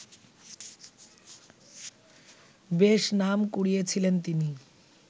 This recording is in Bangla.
বেশ নাম কুড়িয়েছিলেন তিনি